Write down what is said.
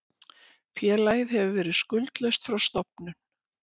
Félagið hefur verið skuldlaust frá stofnun